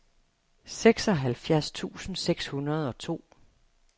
seksoghalvfjerds tusind seks hundrede og to